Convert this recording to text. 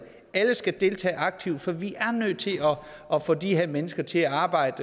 alle skal deltage aktivt for vi er nødt til at få de her mennesker til at arbejde